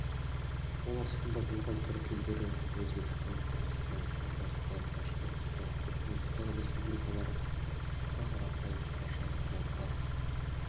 қол астында болған түрік елдері өзбекстан қырғызстан татарстан башқұртстан түркменстан республикалары саха қарайым қарашай балқар